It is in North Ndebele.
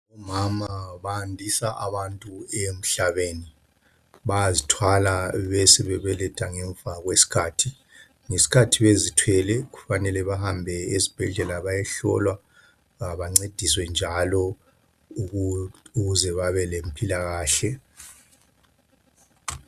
Omama bandisa abantu emhlabeni. Bayazithwala besebe beletha ngemva kwe skhathi. Ngeskhathi bezithwele kufanele bahambe esibhedlela bayehlolwa bancediswe njalo ukuze babe le mpilakahle.